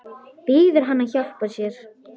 Biður hann að hjálpa sér.